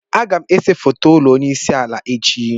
Agam ese foto ulo onye isi ala echi.